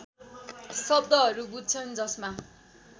शब्दहरू बुझ्छन् जसमा